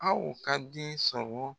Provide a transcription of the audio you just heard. Aw ka den sɔrɔ